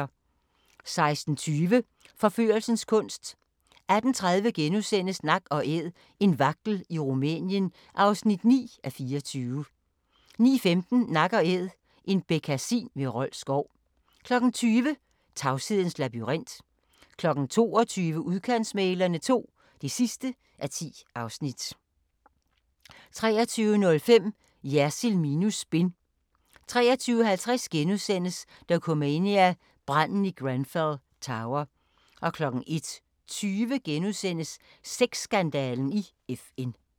16:20: Forførelsens kunst 18:30: Nak & Æd – en vagtel i Rumænien (9:24)* 19:15: Nak & Æd – en bekkasin ved Rold Skov 20:00: Tavshedens labyrint 22:00: Udkantsmæglerne II (10:10) 23:05: Jersild minus spin 23:50: Dokumania: Branden i Grenfell Tower * 01:20: Sex-skandalen i FN *